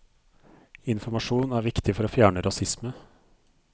Informasjon er viktig for å fjerne rasisme.